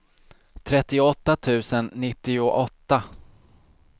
trettioåtta tusen nittioåtta